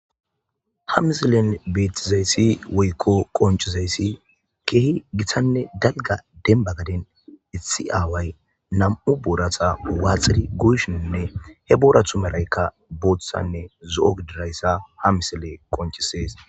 Ha misilen beetizayssi woykko qoncizayssi keehi gitanne dalga denba gaden itsi aaway nam'u boorata waaxiri guyshinne he boorathu maraykka booththanne zo'o gidirayssa ha misile qonchisees.